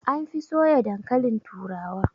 An fi soya dankalin turawa